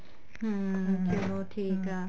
ਹਮ ਚਲੋ ਠੀਕ ਆ